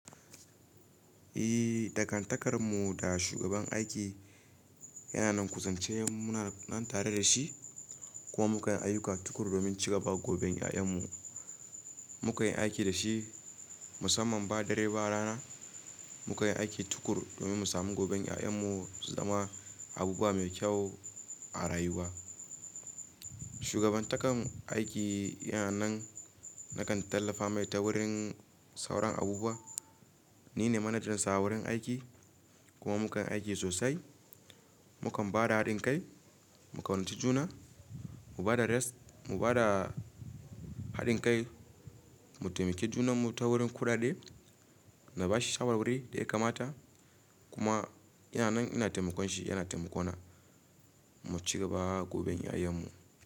Eh, dangantakan mu da shugaban aiki yana nan, kuzance muna nan tare da shi, kuma muka yi ayuka tukur domin cigaba goben ƴaƴan mu. Muka yi aiki da shi musamman ba dare ba rana. Muka yi aiki tukur domin mu sami goben ƴaƴan mu su zama abubuwa mai kyau a rayuwa. Shugaban takan aiki yana nan, nakan tallafa mai ta wurin sauran abubuwa. Ni ne manajan sa wurin aiki kuma muka yi aiki sosai. Mukan ba da haɗin kai, mu kaunaci juna, mu ba da rest, mu ba da haɗin kai, mu taimaki junan mu ta wurin kudade. Na bashi shawarwari da ya kamata kuma yana nan ina taimakon shi yana taimakona mu cigaba goben ƴaƴan mu.